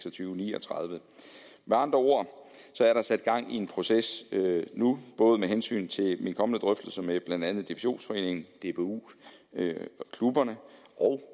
og ni og tredive med andre ord er der sat gang i en proces nu både med hensyn til mine kommende drøftelser med blandt andet divisionsforeningen dbu og klubberne og